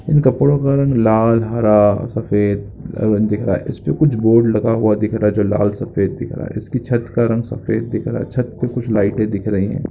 इन कपड़ों का रंग लाल हरा सफ़ेद रंग दिख रहा है इस पे कुछ बोर्ड लगा हुआ दिख रहा है जो लाल सफ़ेद दिख रहा है इसकी छत का रंग सफ़ेद दिख रहा है छत पर कुछ लाइटें दिख रही है।